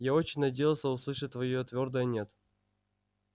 я очень надеялся услышать твоё твёрдое нет